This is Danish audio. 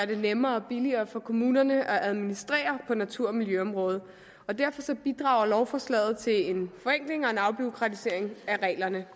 det nemmere og billigere for kommunerne at administrere på natur og miljøområdet og derfor bidrager lovforslaget til en forenkling og en afbureaukratisering af reglerne